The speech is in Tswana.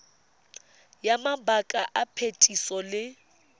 ya mabaka a phetiso le